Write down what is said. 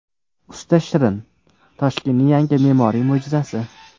Usta Shirin: Toshkentning yangi me’moriy mo‘jizasi.